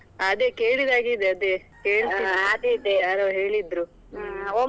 ಅದೇ ಕೇಳಿದಾಗೆ ಇದೆ ಅದೇ .